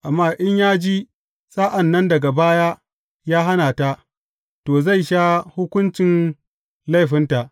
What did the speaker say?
Amma in ya ji, sa’an nan daga baya ya hana ta, to, zai sha hukuncin laifinta.